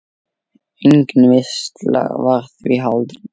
Engin veisla var því haldin.